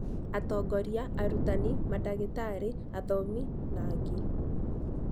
Atongoria, arutani, mandagĩtarĩ, athomi, na angĩ.